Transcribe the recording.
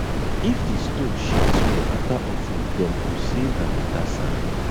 if di stone shift small after offering dem go say na better sign